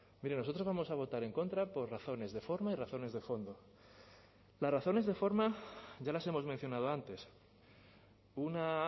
mire nosotros vamos a votar en contra por razones de forma y razones de fondo las razones de forma ya las hemos mencionado antes una